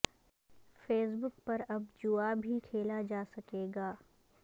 face بک پر اب جوا بھی کھیلا جا سکے گا